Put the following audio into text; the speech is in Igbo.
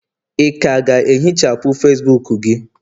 ị ka ga-ehichapụ Facibuku gị?